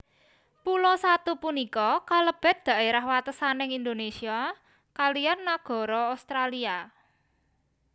Pulo Satu punika kalebet dhaerah watesaning Indonésia kaliyan nagara Australia